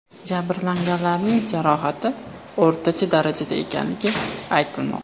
Jabrlanganlarning jarohati o‘rtacha darajada ekanligi aytilmoqda.